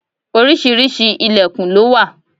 Oríṣiríṣi ìlẹ̀kùn lo wà.